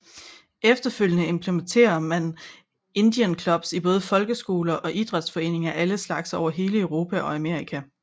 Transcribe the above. Efterfølgende implementere man Indian clubs i både folkeskoler og idræts foreninger af alle slags over hele Europa og Amerika